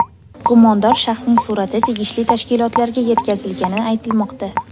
Gumondor shaxsning surati tegishli tashkilotlarga yetkazilgani aytilmoqda.